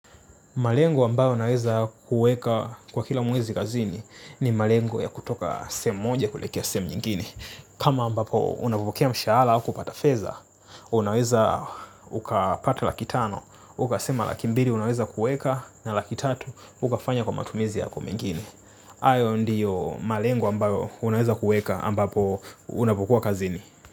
Malengo ambao naweza kuweka kwa kila mwezi kazini ni malengo ya kutoka seemu moja kuelekea seemu nyingine. Kama ambapo unafukia mshahala wa kupata feza, unaweza ukapata laki tano, uka sema laki mbili unaweza kuweka, na laki tatu ukafanya kwa matumizi yako mingine. Ayo ndiyo malengo ambayo unaweza kuweka ambapo unavokua kazini.